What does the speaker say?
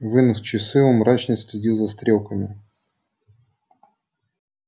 вынув часы он мрачно следил за стрелками